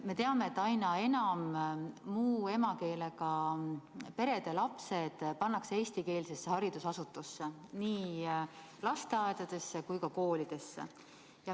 Me teame, et aina enam muu emakeelega perede lapsi pannakse eestikeelsetesse haridusasutustesse, nii lasteaedadesse kui ka koolidesse.